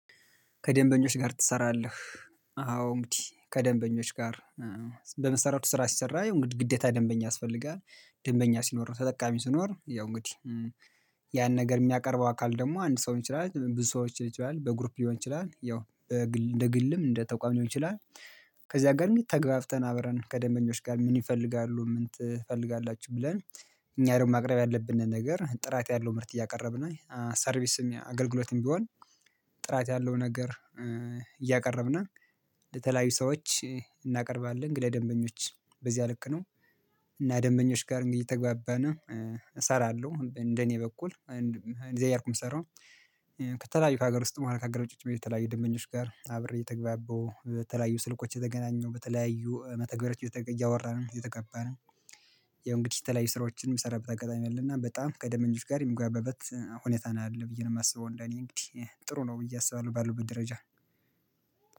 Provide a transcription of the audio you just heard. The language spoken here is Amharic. ከደንበኞች ጋር ትሰራለህ? አዎ እንግዲህ ከደንበኞች ጋር በመሰረቱ ስራ ሲሰራ ግዴታ ደንበኛ ያስፈልጋል ደንበኛ ሲኖር ተጠቃሚ ስኖር ያው እንግዲህ ያን ነገር የሚያቀርበው አካል ደግሞ አንድ ሰው ሊሆን ይችላል ብዙ ሰዎች ሊሆን ይችላል በግሩፕ ሊሆን ይችላል ያው እንደ ግልም እንደ ተቋም ሊሆን ይችላል። ከዚያ ጋር እንግዲህ ተገባብተን አብረን ከደንበኞች ጋር ምን ይፈልጋሉ ምን ትፈልጋላችሁ ብለን እኛ ነው ማቅረብ ያለብንን ነገር ጥራት ያለው ምርት እያቀረብን ነው ሰርቪስም አገልግሎትም ቢሆን። ጥራት ያለው ነገር እያቀረብና ለተለያዩ ሰዎች እናቀርባለን ግለ ደንበኞች በዚያ ልክ ነው። እና ደንበኞች ጋር እንግዲህ ተግባብተን እሰራለሁ እንደኔ በኩል እንደዚህ እያልኩ የምሰራው። ከተለያዩ ከሀገር ውስጥ በኋላ ከሀገር ውጪ ጭምር የተለያየ ደንበኞች ጋር አብሬ ተግባቦ በተለያዩ ስልኮች የተገናኘው በተለያዩ መተግበሪያዎች እያወራን እየተከበረን። የእንግዲህ ተለያይ ስራዎችን የሚሰራበት አጋጣሚ አለና በጣም ከደንበኞች ጋር የሚግባበት ሁኔታ ነው ያለው ብዬ ነው የማስበው እንደኔ እንግዲህ ጥሩ ነው ብዬ አስባለሁ። ባለሁበት ደረጃ